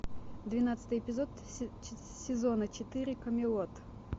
двенадцатый эпизод сезона четыре камелот